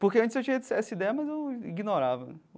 Porque antes eu tinha essa essa ideia, mas eu ignorava né.